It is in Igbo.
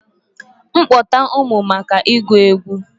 M kpọta ụmụ maka ịgụ egwu?